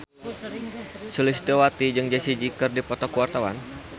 Sulistyowati jeung Jessie J keur dipoto ku wartawan